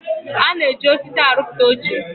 A na-eji osisi aruputa oche